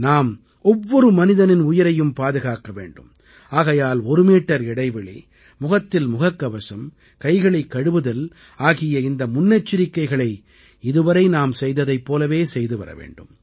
நாம் ஒவ்வொரு மனிதனின் உயிரையும் பாதுகாக்க வேண்டும் ஆகையால் ஒரு மீட்டர் இடைவெளி முகத்தில் முகக்கவசம் கைகளைக் கழுவுதல் ஆகிய இந்த முன்னெச்சரிக்கைகளை இதுவரை நாம் செய்ததைப் போலவே செய்து வரவேண்டும்